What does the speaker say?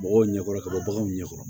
Mɔgɔw ɲɛ kɔrɔ ka bɔ baganw ɲɛ kɔrɔ